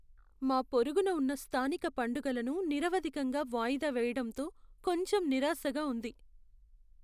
మా పొరుగున ఉన్న స్థానిక పండగలను నిరవధికంగా వాయిదా వేయడంతో కొంచెం నిరాశగా ఉంది.